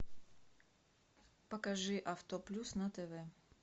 покажи авто плюс на тв